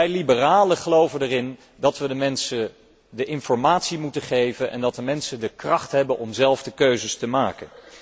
Wij liberalen geloven erin dat we de mensen de informatie moeten geven en dat de mensen de kracht hebben om zelf de keuzes te maken.